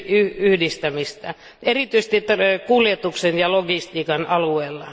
yhdistämistä, erityisesti kuljetuksen ja logistiikan alueella.